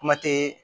Kuma tɛ